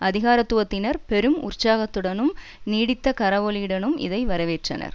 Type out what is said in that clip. அதிகாரத்துவத்தினர் பெரும் உற்சாகத்துடனும் நீடித்த கரவொலியுடனும் இதை வரவேற்றனர்